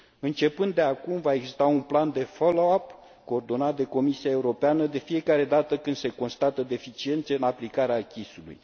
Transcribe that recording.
Începând de acum, va exista un plan de follow up, coordonat de Comisia Europeană, de fiecare dată când se constată deficiențe în aplicarea acquis ului.